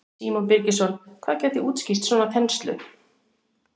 Símon Birgisson: Hvað gæti útskýrt svona þenslu?